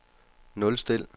nulstil